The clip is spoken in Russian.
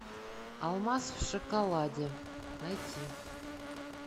алмаз в шоколаде найти